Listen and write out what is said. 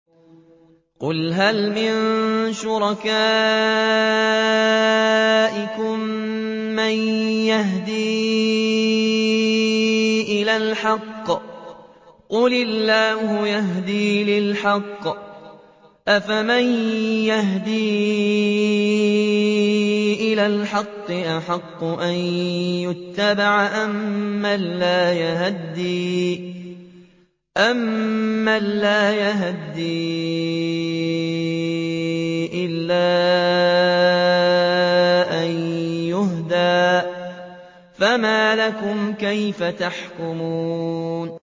قُلْ هَلْ مِن شُرَكَائِكُم مَّن يَهْدِي إِلَى الْحَقِّ ۚ قُلِ اللَّهُ يَهْدِي لِلْحَقِّ ۗ أَفَمَن يَهْدِي إِلَى الْحَقِّ أَحَقُّ أَن يُتَّبَعَ أَمَّن لَّا يَهِدِّي إِلَّا أَن يُهْدَىٰ ۖ فَمَا لَكُمْ كَيْفَ تَحْكُمُونَ